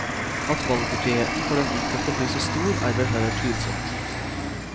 At valgfriheten for den enkelte blir så stor, er vel heller tvilsomt.